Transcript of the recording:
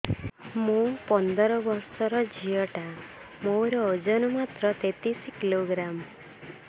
ମୁ ପନ୍ଦର ବର୍ଷ ର ଝିଅ ଟା ମୋର ଓଜନ ମାତ୍ର ତେତିଶ କିଲୋଗ୍ରାମ